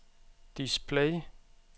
display